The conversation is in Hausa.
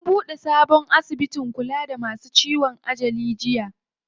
An buɗe sabon asibitin kula da masu ciwon ajali jiya.